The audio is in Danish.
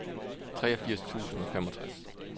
treogfirs tusind og femogtres